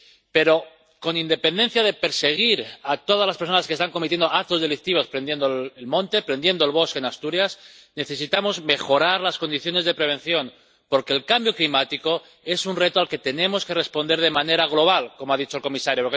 Pero, con independencia de perseguir a todas las personas que están cometiendo actos delictivos prendiendo el monte, prendiendo el bosque en Asturias, necesitamos mejorar las condiciones de prevención, porque el cambio climático es un reto al que tenemos que responder de manera global, como ha dicho el comisario.